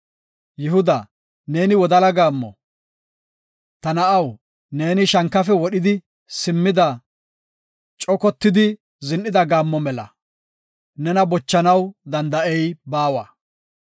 Yihudaa, neeni wodala gaammo; Ta na7aw, neeni shankafe wodhi simmidi, cogotidi zin7ida gaammo mela. Nena bochanaw danda7ey baawa.